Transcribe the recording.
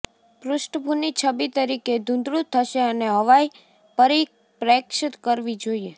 પૃષ્ઠભૂમિ છબી તરીકે ધૂંધળું થશે અને હવાઈ પરિપ્રેક્ષ્ય કરવી જોઈએ